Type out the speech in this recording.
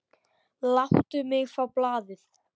Láttu mig fá blaðið!